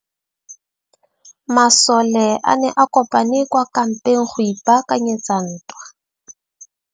Masole a ne a kopane kwa kampeng go ipaakanyetsa ntwa.